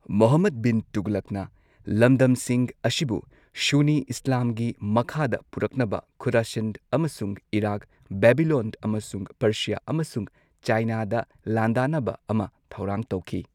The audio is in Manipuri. ꯃꯨꯍꯝꯃꯗ ꯕꯤꯟ ꯇꯨꯒꯂꯛꯅ ꯂꯝꯗꯝꯁꯤꯡ ꯑꯁꯤꯕꯨ ꯁꯨꯟꯅꯤ ꯏꯁꯂꯥꯝꯒꯤ ꯃꯈꯥꯗ ꯄꯨꯔꯛꯅꯕ ꯈꯨꯔꯥꯁꯟ ꯑꯃꯁꯨꯡ ꯏꯔꯥꯛ ꯕꯦꯕꯤꯂꯣꯟ ꯑꯃꯁꯨꯡ ꯄꯔꯁꯤꯌꯥ ꯑꯃꯁꯨꯡ ꯆꯥꯏꯅꯥꯗ ꯂꯥꯟꯗꯥꯅꯕ ꯑꯃ ꯊꯧꯔꯥꯡ ꯇꯧꯈꯤ꯫